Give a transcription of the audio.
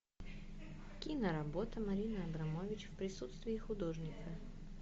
киноработа марины абрамович в присутствии художника